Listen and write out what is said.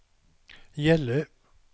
Gällö